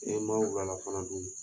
E ma wulalafanadun